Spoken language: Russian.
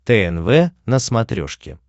тнв на смотрешке